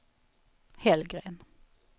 Hellgren